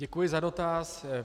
Děkuji za dotaz.